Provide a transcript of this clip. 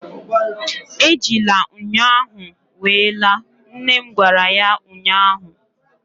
Ejila ṅyọ ahụ wee laa! nne m gwara ya ụnyaahụ